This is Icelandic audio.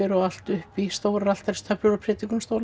og allt upp í stórar altaristöflur og